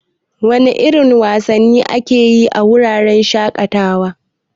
Wana irin wasanni ake yi a wuraren shaƙatawa?